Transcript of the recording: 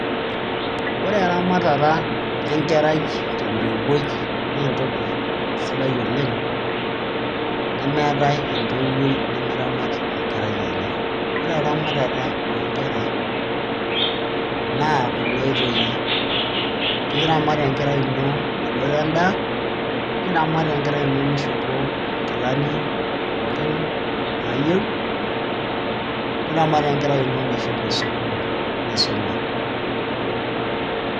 ore eramatata enkerai te ntoiwoi naa entoki sidai oleng. nemeetae entoiwoi nemeramat enkerai enye. ore eramatata oo nkera, naa kunaoitoi, pee iramat enkerai ino menoto edaa, niramat enkerai ino mishopo inkilani pookin naayieu, niramat enkerai ino meshomo sukuul nisuma.